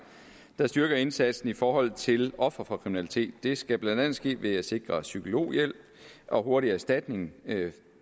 der styrker indsatsen i forhold til ofre for kriminalitet det skal blandt andet ske ved at sikre psykologhjælp og hurtig erstatning